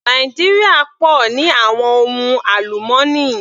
Nàìjíríà pọ̀ ní àwọn ohun àlùmọ́nì.